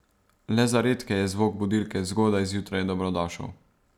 Le za redke je zvok budilke zgodaj zjutraj dobrodošel.